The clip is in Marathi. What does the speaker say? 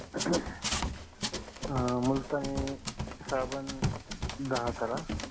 अं मुलतानी साबण दाहा करा